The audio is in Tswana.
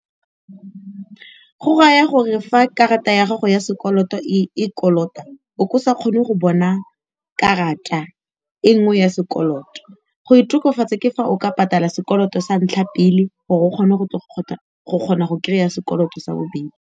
Go raya gore fa karata ya gago ya sekoloto e kolota o ka se kgone go bona karata e nngwe ya sekoloto, go e tokafatsa ke fa o ka patala sekoloto sa ntlha pele gore o kgone go tle go kgona go kry-a sekoloto sa bobedi.